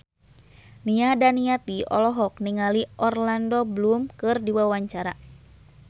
Nia Daniati olohok ningali Orlando Bloom keur diwawancara